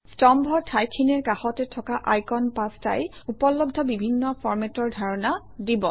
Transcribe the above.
স্তম্ভৰ ঠাইখিনিৰ কাষতে থকা আইকন পাঁচটাই উপলব্ধ বিভিন্ন ফৰমেটৰ ধাৰণা দিব